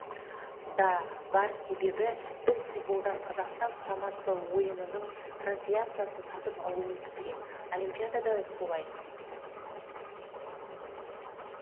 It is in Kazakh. да бар себебі біз футболдан қазақстан құрамасы ойынының трансляциясын сатып алуымыз керек олимпиадада да солай